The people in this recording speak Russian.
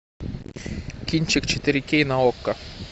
кинчик четыре кей на окко